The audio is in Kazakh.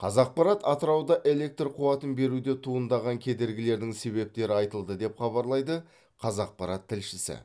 қазақпарат атырауда электр қуатын беруде туындаған кедергілердің себептері айтылды деп хабарлайды қазақпарат тілшісі